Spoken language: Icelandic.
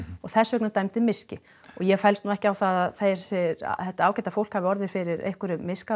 þess vegna dæmdur miski ég fellst ekki á það að þetta ágæta fólk hafi ekki orðið fyrir einhverjum miska